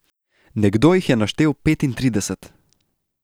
Nekdo jih je naštel petintrideset.